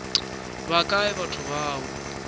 ba kae batho ba o